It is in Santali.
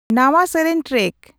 ᱱᱟᱶᱟ ᱥᱮᱨᱮᱧ ᱴᱨᱮᱠ